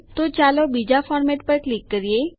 તો ચાલો બીજા ફોર્મેટ પર ક્લિક કરીએ